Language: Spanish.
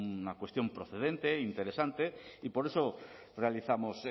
una cuestión procedente interesante y por eso realizamos